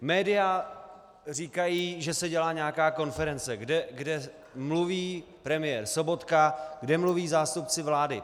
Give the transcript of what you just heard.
Média říkají, že se dělá nějaká konference, kde mluví premiér Sobotka, kde mluví zástupci vlády.